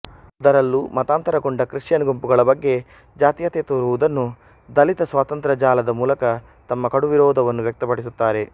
ಅದರಲ್ಲೂ ಮತಾಂತರಗೊಂಡ ಕ್ರಿಶ್ಚಿಯನ್ ಗುಂಪುಗಳ ಬಗ್ಗೆ ಜಾತಿಯತೆ ತೋರುವುದನ್ನುದಲಿತ ಸ್ವತಂತ್ರ ಜಾಲದ ಮೂಲಕ ತಮ್ಮ ಕಡುವಿರೋಧವನ್ನು ವ್ಯಕ್ತಪಡಿಸುತ್ತಾರೆ